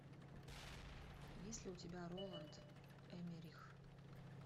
есть ли у тебя роланд эммерих